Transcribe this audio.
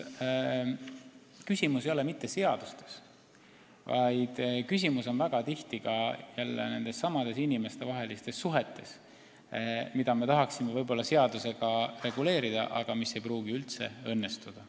Küsimus ei ole mitte seadustes, vaid küsimus on väga tihti nendessamades inimestevahelistes suhetes, mida me tahaksime võib-olla seadusega reguleerida, aga mis ei pruugi üldse õnnestuda.